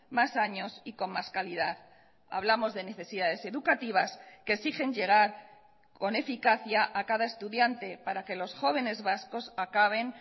más años y con más calidad hablamos de necesidades educativas que exigen llegar con eficacia a cada estudiante para que los jóvenes vascos acaben